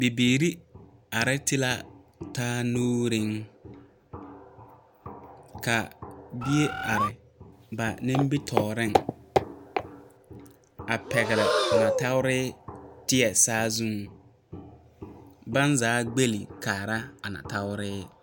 Bibiiri are ti la taa nuure ka bie are ba nimitɔɔreŋ a pɛgle o nɔɔteɛ teɛ saa zu ka ba zaa gbollɔ kaara a nɔɔteɛ .